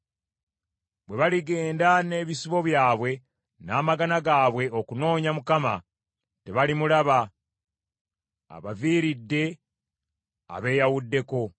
Bwe baligenda n’ebisibo byabwe n’amagana gaabwe okunoonya Mukama , tebalimulaba; abaviiridde, abeeyawuddeko.